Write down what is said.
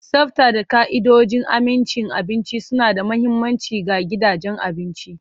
Tsafta da ka'idojin amincin abinci suna da mahimmanci ga gidajen abinci.